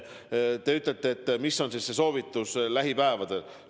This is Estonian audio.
Te küsite, mis on soovitus lähipäevadeks.